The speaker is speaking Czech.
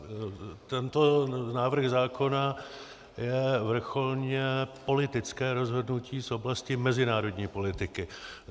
Tento návrh zákona je vrcholně politické rozhodnutí z oblasti mezinárodní politiky.